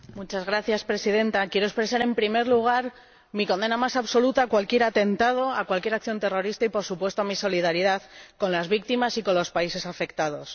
Señora Presidenta, quiero expresar en primer lugar mi condena más absoluta a cualquier atentado, a cualquier acción terrorista y, por supuesto, mi solidaridad con las víctimas y con los países afectados.